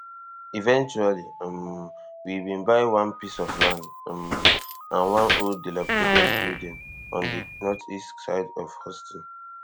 eventually um we bin buy one piece of land um and one old dilapidated building on di northeast side of houston